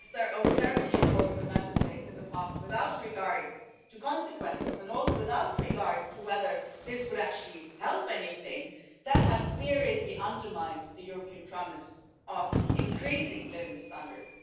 And the austerity imposed on Member States in the past without regard to consequences and also without regard to whether this would actually help anything that has seriously undermined the European promise of increasing living standards.